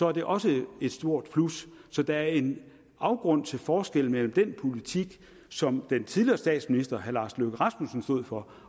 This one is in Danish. er det også et stort plus så der er en afgrund til forskel mellem den politik som den tidligere statsminister herre lars løkke rasmussen stod for